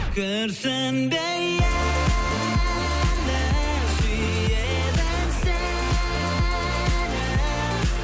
күрсінбе енді сүйеді сені